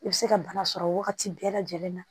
I bɛ se ka bana sɔrɔ wagati bɛɛ lajɛlen na